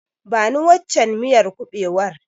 Bani waccen miyar kuɓewar.